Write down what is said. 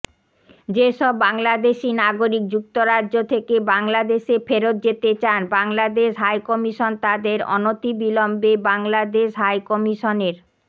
যেসব বাংলাদেশি নাগরিক যুক্তরাজ্য থেকে বাংলাদেশে ফেরত যেতে চান বাংলাদেশ হাইকমিশন তাদের অনতিবিলম্বে বাংলাদেশ হাইকমিশনের